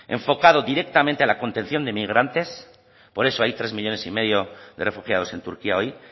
enfocado directamente a la contención de emigrantes por eso hay tres millónes y medio de refugiados en turquía hoy